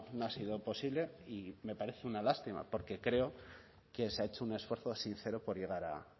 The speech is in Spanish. no ha sido posible y me parece una lástima porque creo que se ha hecho un esfuerzo sincero por llegar a